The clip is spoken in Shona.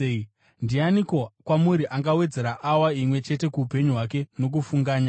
Ndianiko kwamuri angawedzera awa imwe chete kuupenyu hwake nokufunganya?